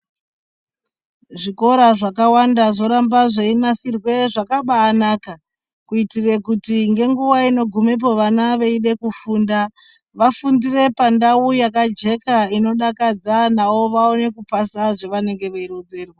Zvikora zvakawanda zvoramba zveinasirwa zvakabaa naka kuitira kuti ngenguva inogumepo vana veida kufunda wafundire pandau yakajeka inodakadza nawo vaone kupasa zvawanenge weironzerwa.